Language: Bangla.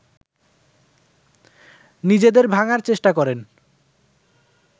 নিজেদের ভাঙার চেষ্টা করেন